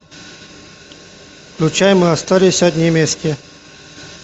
включай мы остались одни вместе